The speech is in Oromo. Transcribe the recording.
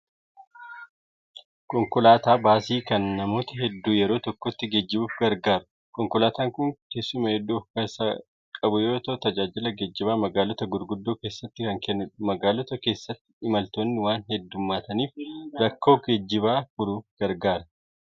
Konkolaataa baasii kan namoota hedduu yeroo tokkotti geejjibuuf gargaaru. Konkolaataan kun teessuma hedduu kan ofkeessaa qabu yoo ta'u, tajaajila geejjibaa magaalota gurguddoo keessatti kan kennudha. Magaalota keessatti imaltoonni waan heddummataniif rakkoo geejjibaa furuuf gargaara.